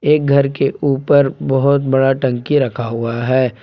एक घर ऊपर बहुत बड़ा टंकी रखा हुआ है।